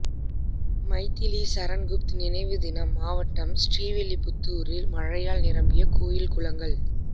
மைதிலி சரண் குப்த் நினைவு தினம் மாவட்டம் திருவில்லிபுத்தூரில் மழையால் நிரம்பிய கோயில் குளங்கள்